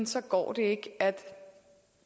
så går det ikke at